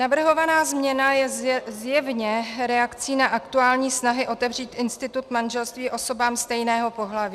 Navrhovaná změna je zjevně reakcí na aktuální snahy otevřít institut manželství osobám stejného pohlaví.